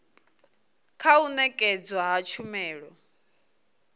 kha u nekedzwa ha tshumelo